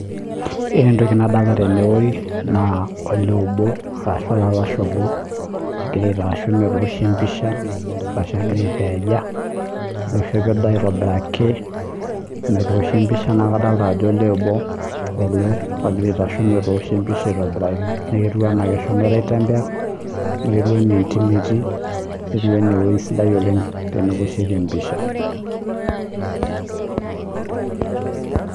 Ore entoki nadolita tenewueji naa olee obo ashu alalashe obo ogira aitasheki metoshi empisha arashu egira aipeja oishope aitobiraki metoshi empisha naa kadolita Ajo olee obo ele ogira aitasho metosshi empisha aitobiraki naa ketieu enaa mehomo aitembea ketieu ena entim etii naa ketieu ena ewueji sidai oleng teneoshieki empisha